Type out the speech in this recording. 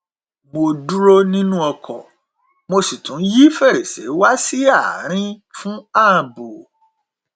mo dúró nínú ọkọ mo sì tún yí fèrèsé wá sí àárín fún ààbò